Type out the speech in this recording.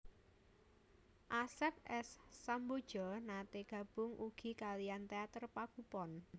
Asep S Sambodja naté gabung ugi kaliyan teater pagupon